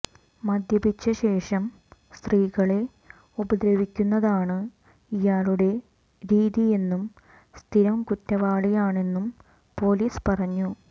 മദ്യപിച്ച ശേഷം സ്ത്രീകളെ ഉപദ്രവിക്കുന്നതാണ് ഇയാളുടെ രീതിയെന്നും സ്ഥിരം കുറ്റവാളിയാണെന്നും പൊലിസ് പറഞ്ഞു